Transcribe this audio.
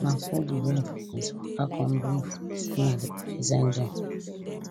na so di bride friends waka come bring food say na di bride send dem